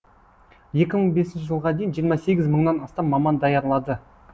екі мың бесінші жылға дейін жиырма сегіз мыңнан астам маман даярлады